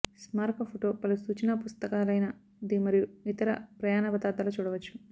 స్మారక ఫోటో పలు సూచనా పుస్తకాలైన ది మరియు ఇతర ప్రయాణ పదార్థాలు చూడవచ్చు